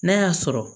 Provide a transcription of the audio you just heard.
N'a y'a sɔrɔ